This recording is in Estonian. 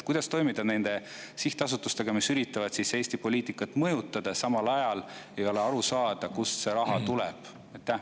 Kuidas toimida nende sihtasutustega, mis üritavad Eesti poliitikat mõjutada, aga samal ajal ei ole aru saada, kust nende raha tuleb?